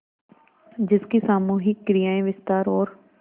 जिसकी सामूहिक क्रियाएँ विस्तार और